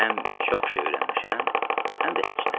Həm çox şey öyrənmişəm, həm də heç nə.